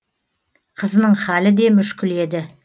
қызының халі де мүшкіл еді